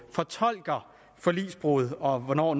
fortolker forligsbrud og hvornår